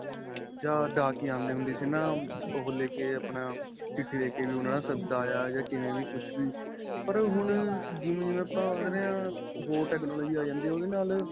ਜਾਂ ਡਾਕੀਏ ਆਉਂਦੇ ਹੁੰਦੇ ਸੀ ਨਾ. ਉਹ ਲੈਕੇ ਆਪਣਾ ਚਿੱਠੀ ਲੈਕੇ ਕੀ ਉਨ੍ਹਾਂ ਦਾ ਸੱਦਾ ਆਇਆ ਕਿਵੇਂ ਵੀ ਕੁੱਝ ਵੀ, ਪਰ ਹੁਣ ਜਿਵੇਂ-ਜਿਵੇਂ ਆਪਾਂ ਹੋਰ technology ਆ ਜਾਂਦੀ ਆ ਉਹਦੇ ਨਾਲ.